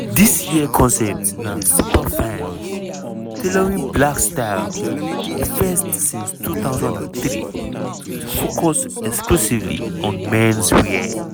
dis year concept na "superfine: tailoring black style" di first since 2003 to focus exclusively on menswear.